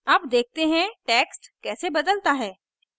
अब देखते हैं text कैसे बदलता है